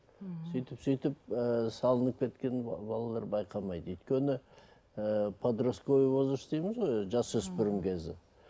мхм сөйтіп сөйтіп ыыы салынып кеткен балалар байқамайды өйткені ыыы подростковый возрост дейміз ғой жасөспірім кезі